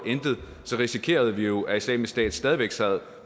så risikerede vi jo at islamisk stat stadig væk sad